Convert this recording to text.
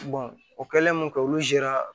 o kɛlen mun kɛ olu zera